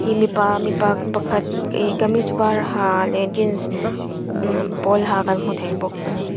mipa mipa pakhat ihh kamis var ha leh jeans nam pawl ha kan hmu thei bawk a ni.